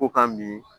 Ko ka min